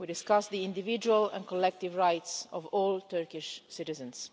We are discussing the individual and collective rights of all Turkish citizens.